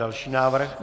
Další návrh.